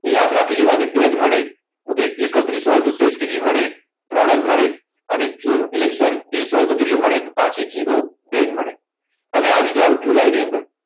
યાદ રાખી લેવાની બે જ મળે એકત્રીસ હોય તો શેષ કેટલી મળે ત્રણ જ મળે અને જૂન એટલે કે sorry હોય તો કેટલી મળે પાછી zero બે જ મળે હવે આવી જાવ જુલાઈ ની અંદર